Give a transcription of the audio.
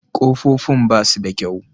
Kofofin ba su da kyau.